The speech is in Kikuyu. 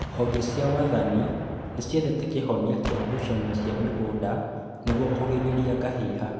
Honge cia wathani nĩciethete kĩhonia kĩa ngũcanio cia mĩgũnda nĩguo kũgirĩrĩria ngahĩha